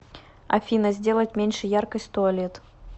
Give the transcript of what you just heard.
афина сделать меньше яркость туалет